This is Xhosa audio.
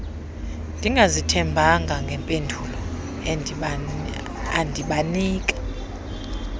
ndingazithembanga ngempendulo endibanika